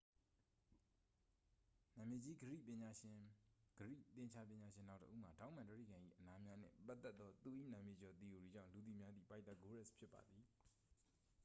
နာမည်ကြီး ဂရိ သင်္ချာပညာရှင်နောက်တစ်ဦးမှာ ထောင့်မှန်တြိဂံ၏ အနားများနှင့် ပတ်သက်သော သူ၏ နာမည်ကျော် သီအိုရီကြောင့် လူသိများသည့် ပိုက်သာဂိုးရပ်စ် ဖြစ်ပါသည်